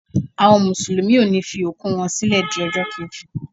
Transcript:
Àwọn mùsùlùmí ọ ni fi òkú wọ́n sílẹ di ọjọ́ keji.